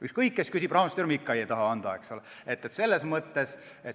Ükskõik, kes küsib, Rahandusministeerium ikka ei taha anda.